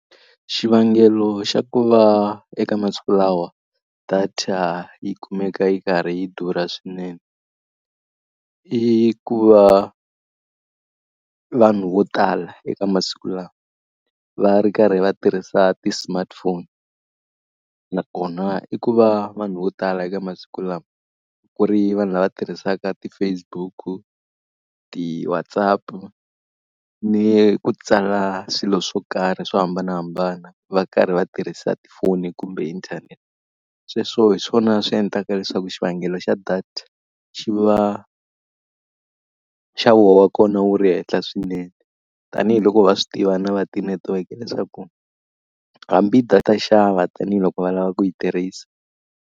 Xivangelo xa ku va eka masiku lawa data yi kumeka yi karhi yi durha swinene, i ku va vanhu vo tala eka masiku lawa va ri karhi va tirhisa ti-smartphone. Nakona i ku va vanhu vo tala eka masiku lawa, ku ri vanhu lava tirhisaka ti-Facebook-u, ti-WhatsApp-u ni ku tsala swilo swo karhi swo hambanahambana va karhi va tirhisa tifoni kumbe inthanete. Sweswo hi swona swi endlaka leswaku xivangelo xa data xi va nxavo wa kona wu ri henhla swinene. Tanihi loko va swi tiva na va tinetiweke leswaku hambi data xava tanihiloko va lava ku yi tirhisa.